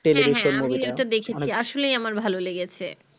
আমি একটা দেখেছি আসলেই আমার ভালো লেগেছে